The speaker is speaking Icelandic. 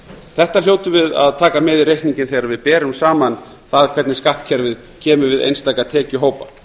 þetta hljótum við að taka með í reikninginn þegar við berum saman það hvernig skattkerfið kemur við einstaka tekjuhópa